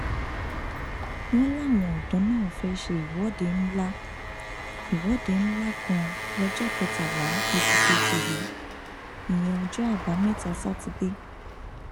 wọn láwọn ọdọ náà fẹẹ ṣe ìwọde ńlá ìwọde ńlá kan lọjọ kẹtàlá oṣù kejì yìí ìyẹn ọjọ àbámẹta sátidé